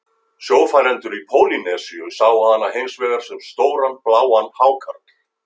Sjófarendur í Pólýnesíu sáu hana hins vegar sem stóran bláan hákarl.